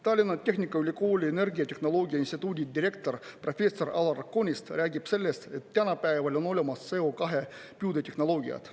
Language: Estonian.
Tallinna Tehnikaülikooli energiatehnoloogia instituudi direktor professor Alar Konist räägib sellest, et tänapäeval on olemas CO2 püüde tehnoloogiad.